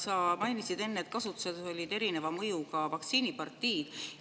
Sa mainisid enne, et kasutuses olid erineva mõjuga vaktsiinipartiid.